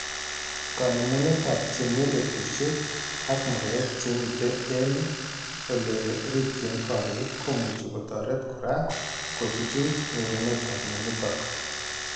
Kanemunetab chemelyegushek ak murek chemite eng' ole rikchin korik komuchi kotoret kora kochuchuch nyorunetab mionitok